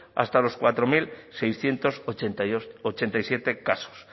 hasta los cuatro mil seiscientos ochenta y siete casos